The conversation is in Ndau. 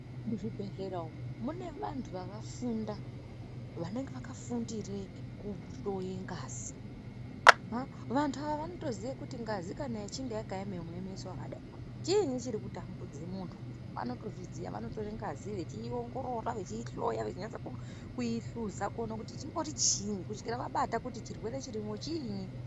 Muzvibhedhlera umu mune vanthu vakafunda, vanenge vakafundire kuhloye ngazi.A vanthu ava vanotoziye kuti kana ngazi ichinge yakaeme muemeso wakadai o ,chiini chiri kutambudze munthu. Vanotozviziya vanotore ngazi vechiiongorora, vechiihloya, vechinase ku kuuihluza kuone kuti chimbori chiini, kusvikira vabate kuti chirwere chirimwo chiini.